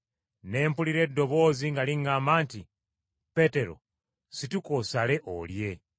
Ne mpulira eddoboozi nga liŋŋamba nti, ‘Peetero, situka osale, olye.’